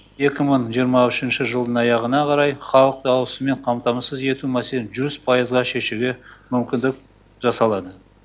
екі мың жиырма үшінші жылдың аяғына қарай халықты ауызсумен қамтамасыз ету мәселе жүз пайызға шешуге мүмкіндік жасалады